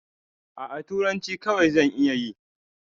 A'a, turanci kawai zan iya yi.